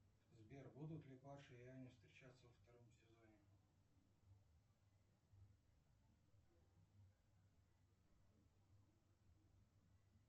сбер будут ли паша и аня встречаться во втором сезоне